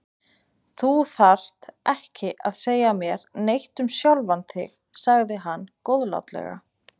Þú þarft ekki að segja mér neitt um sjálfan þig sagði hann góðlátlega.